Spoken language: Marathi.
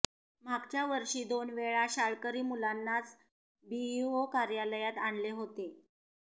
मागच्या वर्षी दोनवेळा शाळकरी मुलांनाच बीईओ कार्यालयात आणले होते